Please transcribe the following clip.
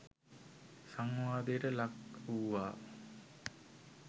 සංවාදයට ලක් වූවා.